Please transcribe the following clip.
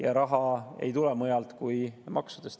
Aga raha ei tule mujalt kui maksudest.